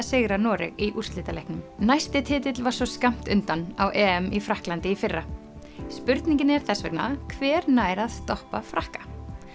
sigra Noreg í úrslitaleiknum næsti titill var svo skammt undan á í Frakklandi í fyrra spurningin er þess vegna hver nær að stoppa Frakka